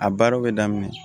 A baara bɛ daminɛ